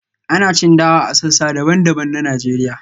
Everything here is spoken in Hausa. ana cin dawa a sassa daban-daban na Najeriya